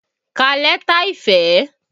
Ká lẹ́tà ìfẹ́!